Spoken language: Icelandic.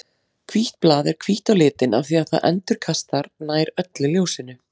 Hvítt blað er hvítt á litinn af því að það endurkastar nær öllu ljósinu.